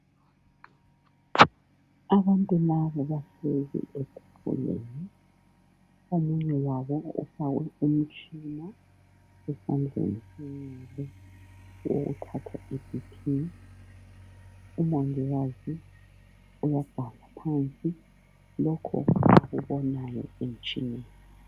Abantu laba bahlezi etafuleni omunye wabo ufakwe umtshina esandleni senxele owokuthathaniBP umongikazi uyabhala phansi lokhu akubonayo emitshineni.